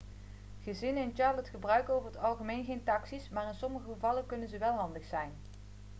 gezinnen in charlotte gebruiken over het algemeen geen taxi's maar in sommige gevallen kunnen ze wel handig zijn